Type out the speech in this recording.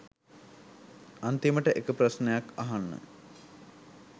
අන්තිමට එක ප්‍රශ්නයක් අහන්න